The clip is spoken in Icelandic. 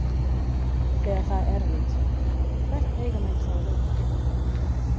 Þegar það er erfitt, hvert eiga menn þá að leita?